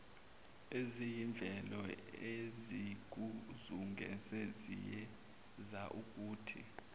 eziyimvelo ezikuzungezile ziyenzaukuthi